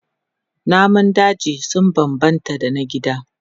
Namun daji sun bambanta da na gida.